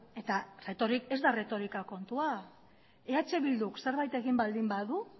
eta reto hori ez da erretorika kontua eh bilduk zerbait egin baldin badu